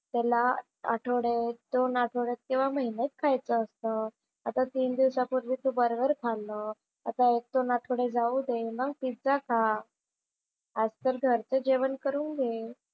त्याला आठवडे दोन आठवड्यात किंवा महिन्यात खायचं असतं. आता तीन दिवसापूर्वी तू बर्गर खाल्लं. आता एक-दोन आठवडे जाऊ दे, मग पिझ्झा खा. आज तर घरचं जेवण करून घे.